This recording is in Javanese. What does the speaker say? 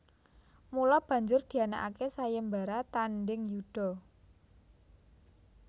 Mula banjur dianakake sayembara tandheng yuda